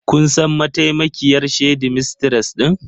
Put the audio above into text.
Kun san mataimakiyar shedimistres din?